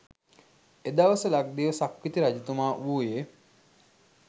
එදවස ලක්දිව සක්විති රජතුමා වූයේ